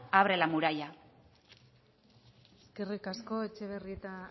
abre la muralla eskerrik asko etxebarrieta